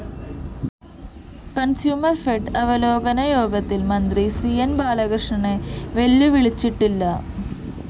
കണ്‍സ്യൂമര്‍ഫെഡ് അവലോകന യോഗത്തില്‍ മന്ത്രി സി ന്‌ ബാലകൃഷ്‌ണനെ വെല്ലുവിളിച്ചിട്ടില്ല